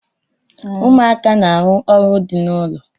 Ụmụaka na-arụ ọrụ dị n'ụlọ.